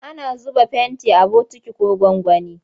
Ana zuba fenti a bokiti ko gwangwani.